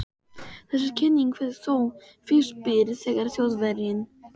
Þessi kenning fékk þó fyrst byr þegar Þjóðverjinn